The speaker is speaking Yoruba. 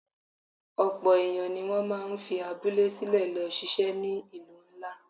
Ọ̀pọ̀ èèyàn ni wọ́n máa ń fi abúlé sílẹ̀ lọ ṣiṣẹ́ ní ìlú ńlá